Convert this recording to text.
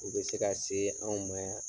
U be se ka see anw ma yan